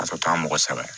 Ka sɔrɔ ka mɔgɔ sɛbɛn